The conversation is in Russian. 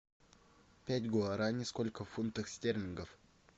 пять гуараней сколько фунтов стерлингов